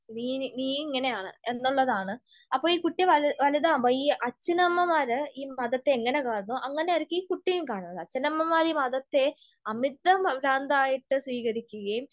നീ നീയിങ്ങനെയാണ് എന്നുള്ളതാണ്. അപ്പൊ ഈ കുട്ടി വലു വലുതാകുമ്പൊ ഈ അച്ഛനമ്മമാർ ഈ മതത്തെ എങ്ങിനെ കാണുന്നൊ എങ്ങിനെയായിരിക്കും ഈ കുട്ടിയും കാണുക. അച്ഛനമ്മമാർ ഈ മതത്തെ അമിത പ്രാന്തായിട്ട് സ്വീകരിക്കുകയും